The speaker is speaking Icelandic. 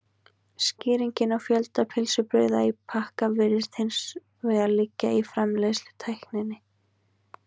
skýringin á fjölda pylsubrauða í pakka virðist hins vegar liggja í framleiðslutækninni